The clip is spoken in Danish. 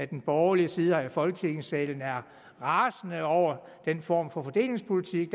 den borgerlige side her i folketingssalen er rasende over den form for fordelingspolitik